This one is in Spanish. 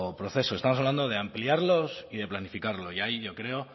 proceso estamos hablando de ampliarlos y de planificarlos y ahí yo creo